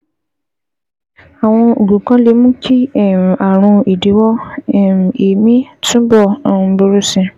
Àwọn oògùn kan lè mú kí um ààrùn ìdíwọ́ um èémí túbọ̀ um burú sí i